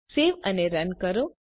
સેવ અને રન કરો